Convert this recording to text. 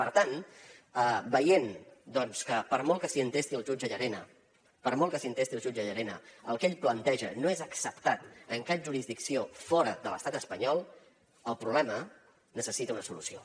per tant veient doncs que per molt que s’hi entesti el jutge llarena per molt que s’hi entesti el jutge llarena el que ell planteja no és acceptat en cap jurisdicció fora de l’estat espanyol el problema necessita una solució